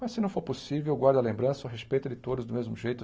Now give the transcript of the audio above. Mas se não for possível, eu guardo a lembrança, o respeito de todos do mesmo jeito.